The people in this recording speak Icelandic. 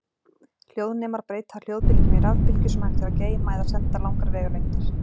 Hljóðnemar breyta hljóðbylgjum í rafbylgjur sem hægt er að geyma eða senda langar vegalengdir.